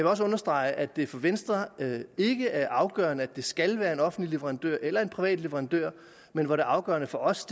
også understrege at det for venstre ikke er afgørende at det skal være en offentlig leverandør eller en privat leverandør men hvor det afgørende for os